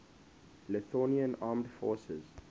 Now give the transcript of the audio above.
lithuanian armed forces